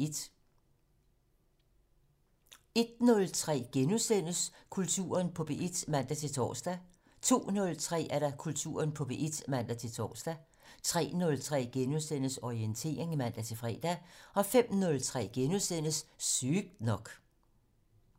01:03: Kulturen på P1 *(man-tor) 02:03: Kulturen på P1 (man-tor) 03:03: Orientering *(man-fre) 05:03: Sygt nok *